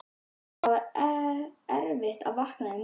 Það var erfitt að vakna í morgun.